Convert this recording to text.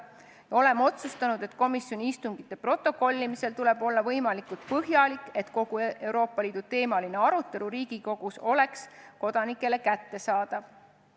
Me oleme otsustanud, et komisjoni istungite protokollimisel tuleb olla võimalikult põhjalik, et kogu Euroopa Liidu teemaline arutelu Riigikogus oleks kodanikele kättesaadav.